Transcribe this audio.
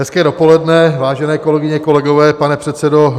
Hezké dopoledne, vážené kolegyně, kolegové, pane předsedo.